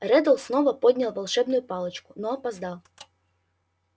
реддл снова поднял волшебную палочку но опоздал